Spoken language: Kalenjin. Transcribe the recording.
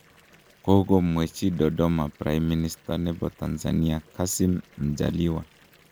kokomwechi Dodoma prime minister ne bo Tanzania Kassim Majaliwa